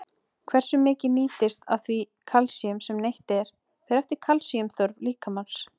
Hversu mikið nýtist af því kalsíum sem neytt er, fer eftir kalsíumþörf líkamans.